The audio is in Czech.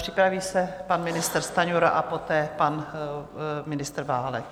Připraví se pan ministr Stanjura a poté pan ministr Válek.